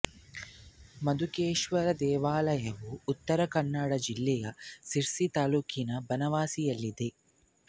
ಮಧುಕೇಶ್ವರ ದೇವಾಲಯವು ಉತ್ತರ ಕನ್ನಡ ಜಿಲ್ಲೆಯ ಶಿರಸಿ ತಾಲೂಕಿನ ಬನವಾಸಿಯಲ್ಲಿದೆ